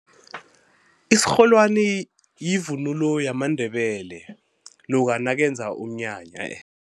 Isirholwani yivunulo yamaNdebele loka nakenza umnyanya